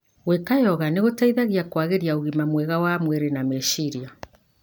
Gwika Yoga nĩgũteithagia kũagĩria ũgima mwega wa mwrĩ na meciria.